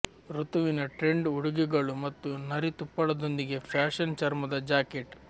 ಋತುವಿನ ಟ್ರೆಂಡ್ ಉಡುಗೆಗಳು ಮತ್ತು ನರಿ ತುಪ್ಪಳದೊಂದಿಗೆ ಫ್ಯಾಶನ್ ಚರ್ಮದ ಜಾಕೆಟ್